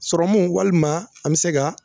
Sɔrɔmu, walima an bɛ se